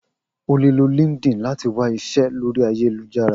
O le lo LinkedIn lati wa awọn iṣẹ lori ayelujara.